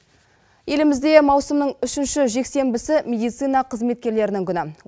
елімізде маусымның үшінші жексенбісі медицина қызметкерлерінің күні